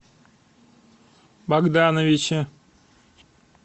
богдановиче